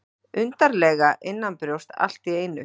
Undarlega innanbrjósts allt í einu.